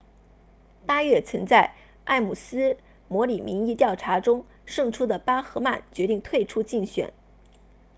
八月曾在埃姆斯模拟民意调查中胜出的巴赫曼决定退出竞选